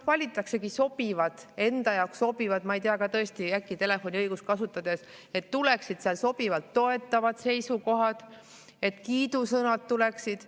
Valitaksegi sobivad, enda jaoks sobivad, ma ei tea, tõesti äkki telefoniõigust kasutades, et tuleksid sealt sobivalt toetavad seisukohad, et kiidusõnad tuleksid.